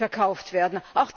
verkauft werden.